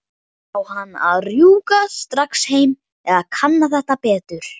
Á hún að rjúka strax heim eða kanna þetta betur?